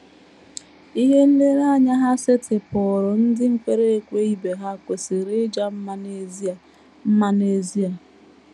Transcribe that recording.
Ihe nlereanya ha setịpụụrụ ndị kwere ekwe ibe ha kwesịrị ịja mma n’ezie. mma n’ezie.